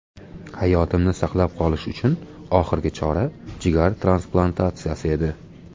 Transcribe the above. Hayotimni saqlab qolish uchun oxirgi chora jigar transplantatsiyasi edi.